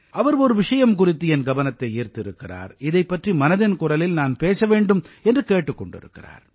அவர் ஒரு விஷயம் குறித்து என் கவனத்தை ஈர்த்திருக்கிறார் இதைப் பற்றி மனதின் குரலில் நான் பேச வேண்டும் என்று கேட்டுக் கொண்டிருக்கிறார்